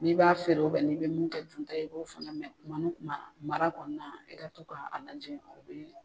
N'i b'a feere n'i bɛ min kɛ dunta ye i b'o fana mɛn mara kɔnɔna, i ka to k'a lajɛ o bɛ